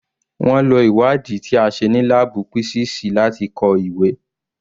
Wọ́n lo ìwádìí ti a ṣe ní láàbù písíìsì láti kọ ìwé.